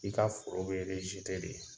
I ka foro be de .